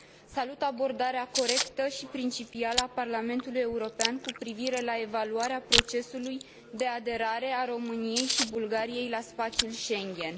Salut abordarea corectă și principială a Parlamentului European cu privire la evaluarea procesului de aderare a României și Bulgariei la spațiul Schengen.